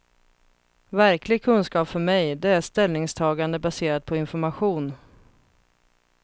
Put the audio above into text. Verklig kunskap för mig, det är ställningstagande baserat på information.